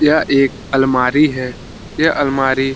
यह एक अलमारी है | यह अलमारी --